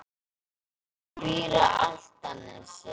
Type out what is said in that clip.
Hann býr á Álftanesi.